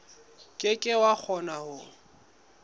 ke ke wa kgona ho